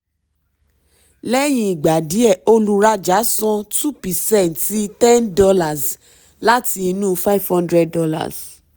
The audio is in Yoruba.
lẹ́yìn ìgbà díẹ̀ olùrájà san two percent ten dollars láti inú five hundred dollars.